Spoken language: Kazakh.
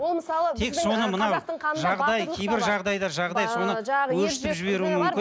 ол мысалы тек соны мынау жағдай кейбір жағдайлар жағдай соны өршітіп жіберуі мүмкін